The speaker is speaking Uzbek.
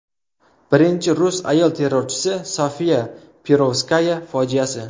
Birinchi rus ayol terrorchi Sofiya Perovskaya fojiasi.